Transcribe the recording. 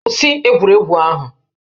Kwụsị egwuregwu ahụ!